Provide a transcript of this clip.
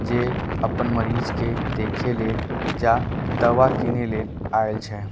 जे अप्पन मरीज के देखे ले जा दवा किने लेल आएल छे।